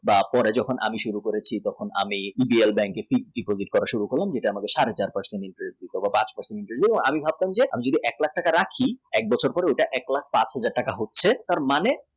আপনার যখন আমি শুরু করেছি তখন আমি উত্তরা bank এ fixed deposit করা শুরু করি যেটা আমাকে সাড়ে পাঁচ বছরের মধ্যে বাঁশ দিল আমি ভাবতাম যদি এক টাকা রাখি তাহলে এক বছর পড়ে ওটা এক লাখ পাঁচ হাজার হচ্ছে ।